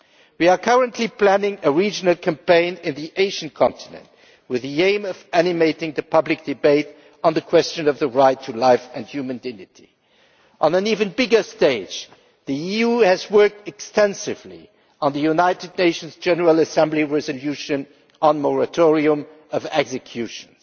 We are currently planning a regional campaign on the Asian continent with the aim of animating the public debate on the question of the right to life and human dignity. On an even bigger stage, the EU has worked extensively on the United Nations General Assembly resolution on a moratorium on executions.